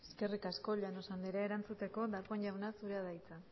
eskerrik asko llanos andrea erantzuteko darpón jauna zurea da hitza